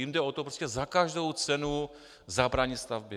Jim jde o to prostě za každou cenu zabránit stavbě.